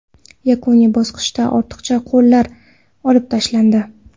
Yakuniy bosqichda ortiqcha qo‘llar olib tashlandi.